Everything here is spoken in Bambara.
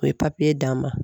U ye papiye d'an ma